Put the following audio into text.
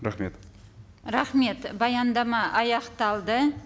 рахмет рахмет баяндама аяқталды